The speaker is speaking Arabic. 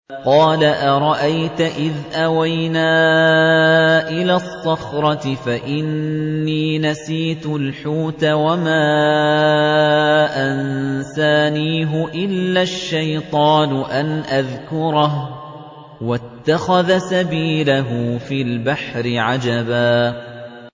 قَالَ أَرَأَيْتَ إِذْ أَوَيْنَا إِلَى الصَّخْرَةِ فَإِنِّي نَسِيتُ الْحُوتَ وَمَا أَنسَانِيهُ إِلَّا الشَّيْطَانُ أَنْ أَذْكُرَهُ ۚ وَاتَّخَذَ سَبِيلَهُ فِي الْبَحْرِ عَجَبًا